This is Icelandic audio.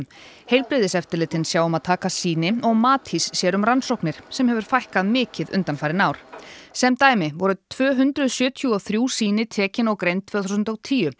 heilbrigðiseftirlitin sjá um að taka sýni og Matís sér um rannsóknir sem hefur fækkað mikið undanfarin ár sem dæmi voru tvö hundruð sjötíu og þrjú sýni tekin og greind tvö þúsund og tíu